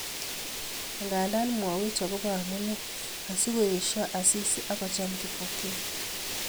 Nganda momwoch agobo amune asikoesio Asisi akocham Kipokeo